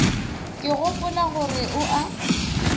ke gopola gore o a